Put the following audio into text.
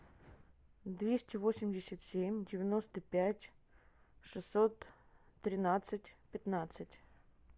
двести восемьдесят семь девяносто пять шестьсот тринадцать пятнадцать